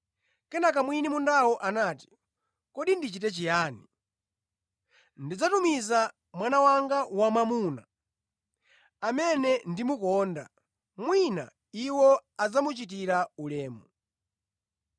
“Kenaka mwini mundawo anati, ‘Kodi ndichite chiyani? Ndidzatumiza mwana wanga wamwamuna, amene ndimukonda; mwina iwo adzamuchitira ulemu.’